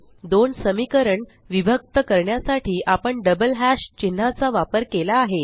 दोन समीकरण विभक्त करण्यासाठी आपण डबल हॅश चिन्हाचा वापर केला आहे